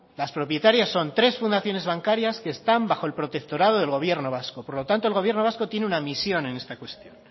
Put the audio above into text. las propietarias son tres fundaciones bancarias que están bajo el protectorado del gobierno vasco por lo tanto el gobierno vasco tiene una misión en esta cuestión